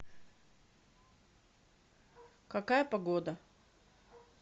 какая погода